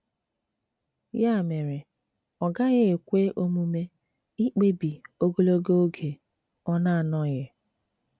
Ya mere, ọ gaghị ekwe omume ikpebi ogologo oge ọ na-anọghị.